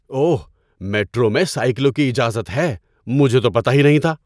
اوہ! Metro میں سائیکلوں کی اجازت ہے۔ مجھے تو پتہ ہی نہیں تھا۔